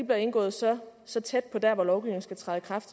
bliver indgået så så tæt på dér hvor lovgivningen skal træde i kraft